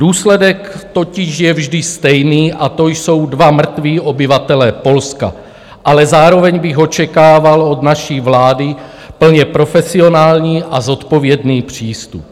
Důsledek totiž je vždy stejný, a to jsou dva mrtví obyvatelé Polska, ale zároveň bych očekával od naší vlády plně profesionální a zodpovědný přístup.